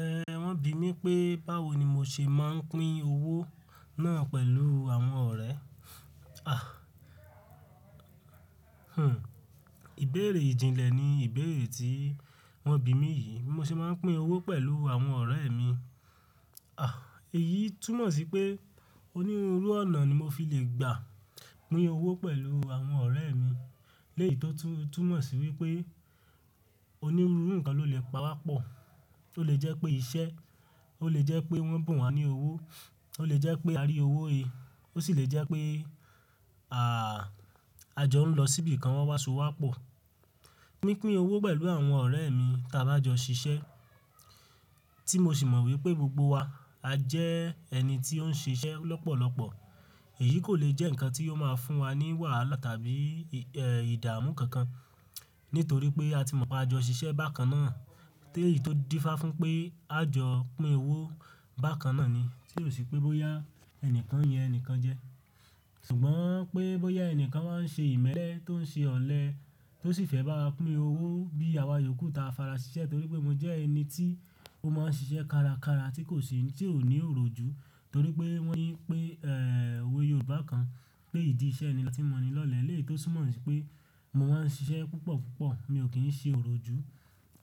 Ẹ̀, wọ́n bì mí pé báwo ni mo ṣe máa ń pín owó náà pẹ̀lú àwọn ọ̀rẹ́. Àh! Hun, ìbéèrè ìjìnlẹ̀ ni ìbéèrè tí wọ́n bì mí yìí, mo ṣe máa ń pín owó pẹ̀lú àwọn ọ̀rẹ́ mi. Àh, èyí túmọ̀ sí pé onírúurú ọ̀nà ni mo fi le gbà pín owó pẹ̀lú àwọn ọ̀rẹ́ mi, léyì tó tún, túnmọ̀ sí wípé onírúurú nǹkan lo le pa wá pọ̀. Ó lè jẹ́ pé iṣẹ́, ó lè jẹ́ pé wọ́n bùn wá ní owó, ó lè jẹ́ pé a rí owó he, ó sì lè jẹ́ pé, àh, a jọ ń lọ síbi kan wọ́n wá so wá pọ̀. Pi pín owó pẹ̀lú àwọn ọ̀rẹ́ mi tí a bá jọ ṣiṣẹ́, tí mo sì mọ̀ wípé gbogbo wa a jẹ́ ẹni tí ó ń ṣe iṣẹ́ lọ́pọ̀lọpọ̀, èyí kò lè jẹ́ nǹkan tí yóò máa fún wa ní wàhálà tàbí, ẹ́, ìdààmú kankan. Nítorí pé a ti mọ̀ pé a jọ ṣiṣẹ́ bákan náà. Téèyì tó dífá fún un pé a jọ pín owó bákan náà ni, tí ò sí pé bóyá ẹnìkan yẹn ẹnìkan jẹ. Ṣùgbọ́n pé bóyá ẹnìkan máa ń ṣe ìmẹ́lẹ́ tó ń ṣe ọ̀lẹ tó sì fẹ́ bá wa pín owó bí àwa yòókù ta farasiṣẹ́ torí pé mo jẹ́ ẹni tí ó máa ń ṣiṣẹ́ kárakára tí kò ṣe, tí ò ní òróòjú. Torí pé wọ́n yín pé, ẹ́, òwe Yorùbá kan pé ìdí iṣẹ́ ni ọlá tí mọ́ni lọ́lẹ. Léyì tó tún mọ̀ sí pé mo máa ń ṣiṣẹ́ púpọ̀púpọ̀, mi ò kí ń ṣe òróòjú.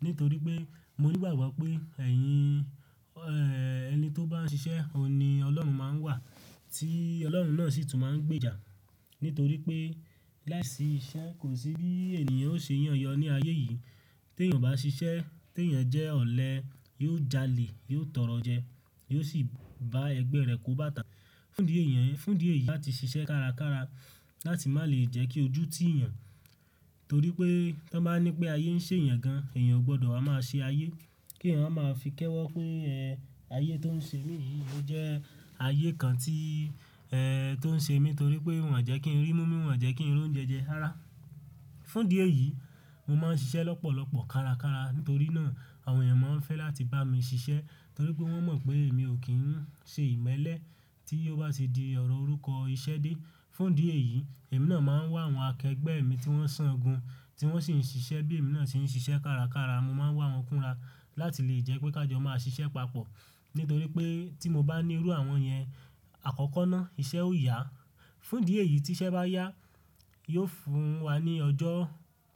Nítorí pé mo ní ìgbàgbọ́ pé ẹ̀yin, ẹ́, ẹni tó bá ń ṣiṣẹ́, ó ní Ọlọ́run máa ń wà tí Ọlọ́run náà sì tún máa ń gbèjà. Nítorí pé láìsí iṣẹ́ kò sí bí ènìyàn ó ṣe yàn yọ ní ayé yìí. Tí ènìyàn bá ṣiṣẹ́, tí ènìyàn jẹ́ ọ̀lẹ, yóò jalè, yóò tọrọ jẹ, yóò sì bá ẹgbẹ́ rẹ̀ kó bàtà. Fún ìdí èèyàn, fún ìdí èyí láti ṣiṣẹ́ kárakára láti má lè jẹ́ kí ojú tí èèyàn, torí pé tí wọ́n bá ní pé ayé ń ṣe èèyàn gan, èèyàn ò gbọdọ̀ máa ṣe ayé. Kí èèyàn máa fi kẹ́wọ̀ pé, ẹ́, ayé tó ń ṣe mi yìí ló jẹ́ ayé kan tí, ẹ́, tó ń ṣe mí torí pé wọ́n jẹ́ kí n rí múmin, wọ́n jẹ́ kí n rí oúnjẹ jẹ, rárá. Fún ìdí èyí, mo máa ń ṣiṣẹ́ lọ́pọ̀lọpọ̀ kárakára nítorí náà àwọn èèyàn máa ń fẹ́ láti bá mi ṣiṣẹ́ torí pé wọ́n mọ̀ pé èmi ò kí ń ṣe ìmẹ́lẹ́ tí ó bá ṣe di ọ̀rọ̀ orúkọ iṣẹ́ dé. Fún ìdí èyí, èmi náà máa ń wá àwọn akẹgbẹ́ mi tí wọ́n san gun, tí wọ́n sì ń ṣiṣẹ́ bí èmi náà ṣe ń ṣiṣẹ́ kárakára. Mo máa ń wá wọn kúnra láti lè jẹ́ pé ká jọ máa ṣiṣẹ́ papọ̀. Nítorí pé tí mo bá ní irú àwọn yẹn, àkọ́kọ́ náà iṣẹ́ ó yá. Fún ìdí èyí tí iṣẹ́ bá yá, yóò fún wa ní ọjọ́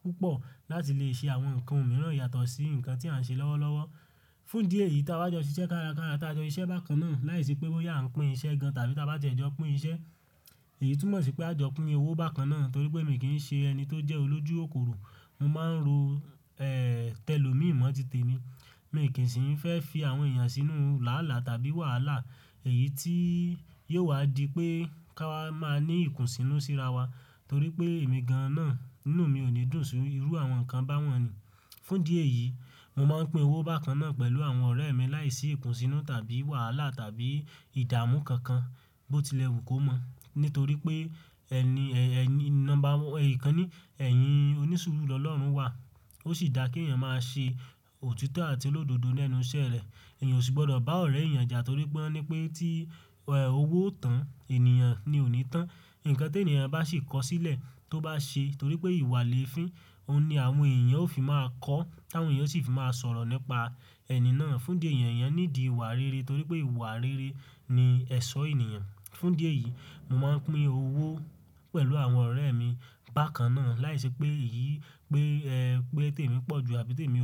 púpọ̀ láti lè ṣe àwọn nǹkan mìíràn yàtọ̀ sí nǹkan tí à ń ṣe lọ́wọ́lọ́wọ́. Fún ìdí èyí tí a bá jọ ṣiṣẹ́ kárakára, tí a jọ ṣiṣẹ́ bákan náà láìsí pé bóyá à ń pín iṣẹ́ gan tàbí tí a bá jẹ́ jọ pín iṣẹ́, èyí tún mọ̀ sí pé a jọ pín owó bákan náà nítorí pé èmi kì í ṣe ẹni tó jẹ́ olójú òkòro. Mo máa ń ro, ẹ́, tẹ́lòmí mọ́tìtì mi. Èmi kì í sì ń fẹ́ fi àwọn èèyàn sínú làálà tàbí wàhálà. Èyí tí yóò wá di pé ká máa ní ìkùnsínú síra wa torí pé èmi gan-an náà, inú mi ò ní dùn sí irú àwọn nǹkan báwọ̀n ni. Fún ìdí èyí, mo máa ń pín owó bákan náà pẹ̀lú àwọn ọ̀rẹ́ mi láìsí ìkùnsínú tàbí wàhálà tàbí ìdààmú kankan bó tilẹ̀ wù kó mọ̀. Nítorí pé ẹni, ẹ́, ẹni, nọ́mbà wọ, èyí kan ni, ẹ̀yin onísùúrù Ọlọ́run wà. Ó sì dà kí èèyàn máa ṣe òtítọ́ àti olódodo lẹ́nu iṣẹ́ rẹ̀. Ẹ̀yàn ò sì gbọdọ̀ bá ọ̀rẹ́ èèyàn jà torí pé wọ́n ní pé tí, ẹ́, owó ò tán, ènìyàn ni ò ní tán. Ǹkan tí ènìyàn bá sì kọ sílẹ̀ tó bá ṣe torí pé ìwà léèfín, òun ni àwọn èèyàn ó fi máa kọ́, àwọn èèyàn ó sì fi máa sọ̀rọ̀ nípa ẹni náà. Fún ìdí èèyàn, èèyàn nídi ìwà rere torí pé ìwà rere ni ẹ̀ṣọ́ ènìyàn. Fún ìdí èyí, mo máa ń pín owó pẹ̀lú àwọn ọ̀rẹ́ mi bákan náà láìsí pé èyí pé, ẹ́, pé tèmi pọ̀ ju àbí tèmi ò pé.